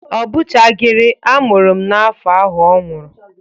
Ọ bụchagịrị. A mụrụ m n'afọ ahụ ọ nwụrụ.